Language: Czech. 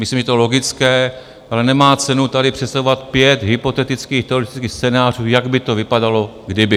Myslím, že je to logické, ale nemá cenu tady představovat pět hypotetických teoretických scénářů, jak by to vypadalo, kdyby.